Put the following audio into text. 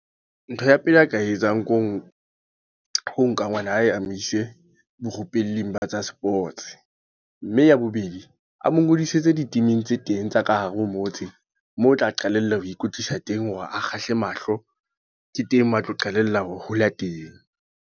Ntho ya pele a ka e etsang ke ho, ho nka ngwana hae a mo ise barupelli ba tsa sports. Mme ya bobedi, a mo ngodisetse di-team-ing tse teng tsa ka hare ho motse. Moo o tla qalella ho ikwetlisa teng hore a kgahle mahlo. Ke teng moo a tla qalella ho hola teng.